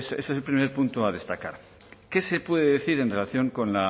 ese es el primer punto a destacar qué se puede decir en relación con